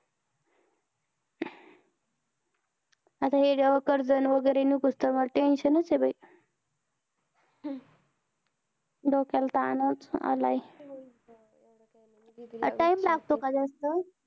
आता हे कर्ज वगैरे निघतं तोवर tension चं हे बाई. डोक्याला ताणच आलाय. अं time लागतो का जास्त?